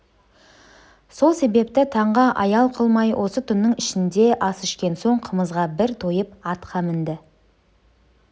сол себепті таңға аял қылмай осы түннің ішінде ас ішкен соң қымызға бір тойып атқа мінді